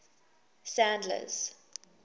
sandler's